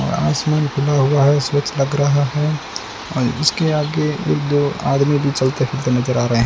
आसमान खुला हुआ है स्वच्छ लग रहा है और इसके आगे एक दो आदमी भी चलते फिरते नजर आ रहे --